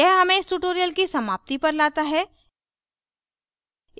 यह हमें इस tutorial की समाप्ति पर लाता है